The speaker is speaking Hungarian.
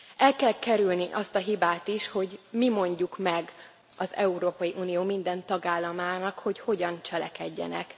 El kell kerülni azt a hibát is, hogy mi mondjuk meg az Európai Unió minden tagállamának, hogy hogyan cselekedjenek.